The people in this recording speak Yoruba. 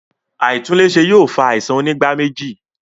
Aitunle ṣe yóò fa àisàn onígbáméjì